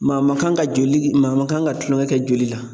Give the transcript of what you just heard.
Maa man kan ka joli maa man kan ka tulonkɛ kɛ joli la.